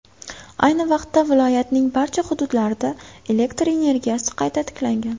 Ayni vaqtda viloyatning barcha hududlarida elektr energiyasi qayta tiklangan.